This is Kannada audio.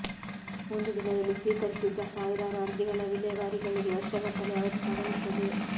ಒಂದು ದಿನದಲ್ಲಿ ಸ್ವೀಕರಿಸಿದ್ದ ಸಾವಿರಾರು ಅರ್ಜಿಗಳ ವಿಲೇವಾರಿಗಳಿಗೆ ವರ್ಷಗಟ್ಟಲೇ ಅವಧಿ ತಗಲುತ್ತದೆ